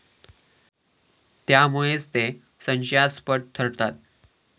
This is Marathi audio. त्यामुळेच ते संशयास्पद ठरतात.